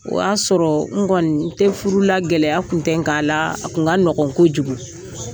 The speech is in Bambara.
O y'a sɔrɔ n kɔni tɛ furu la gɛlɛya kun tɛ n kan a la a kun ka nɔgɔn ko kojugu.